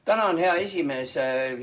Tänan, hea esimees!